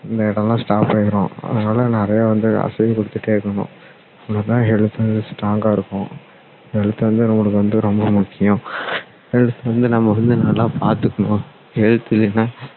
இந்த இடம் எல்லாம் stop ஆகிரும் அதனால நிறைய வந்து அசைவு கொடுத்துட்டே இருக்கணும் அப்போ தான் health வந்து strong ஆ இருக்கும் health வந்து நம்மளுக்கு வந்து ரொம்ப முக்கியம் health வந்து நம்ம வந்து நல்லா பார்த்துக்கணும் health இல்லன்னா